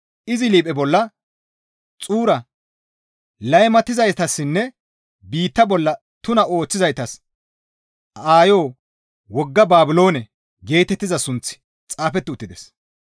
Izi liiphe bolla, «Xuura, laymatizaytassinne biitta bolla tuna ooththizaytas aayo wogga Baabiloone» geetettiza sunththi xaafeti uttides.